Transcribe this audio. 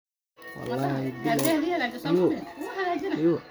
Unugyada T-da oo yaraada ayaa qofka ku keenta in uu aad ugu nugul yahay jirrooyinka.